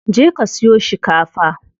Je ka siyo shikafa.